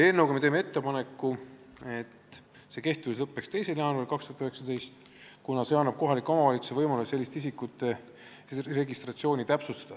Eelnõuga me teeme ettepaneku, et nende kehtivus lõppeks 2. jaanuaril 2019, kuna see annab kohalikule omavalitsusele võimaluse selliste isikute registreeringuid täpsustada.